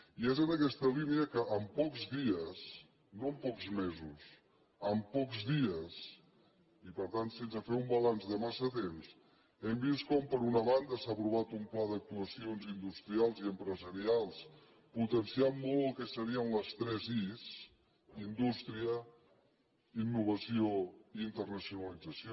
i és en aquesta línia que en pocs dies no en pocs mesos en pocs dies i per tant sense fer un balanç de massa temps hem vist com per una banda s’ha aprovat un pla d’actuacions industrials i empresarials que potencia molt el que serien les tres is indústria innovació i internacionalització